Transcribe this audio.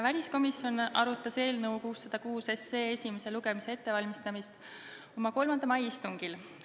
Väliskomisjon valmistas eelnõu 606 esimest lugemist ette oma 3. mai istungil.